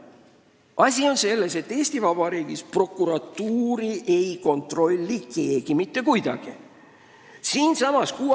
Asi on selles, et Eesti Vabariigis ei kontrolli keegi mitte kuidagi prokuratuuri.